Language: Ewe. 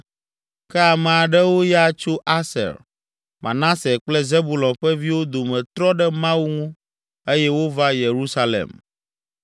Ke ame aɖewo ya tso Aser, Manase kple Zebulon ƒe viwo dome trɔ ɖe Mawu ŋu eye wova Yerusalem.